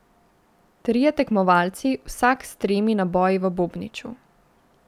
Trije tekmovalci, vsak s tremi naboji v bobniču.